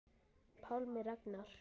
Pálmi Ragnar.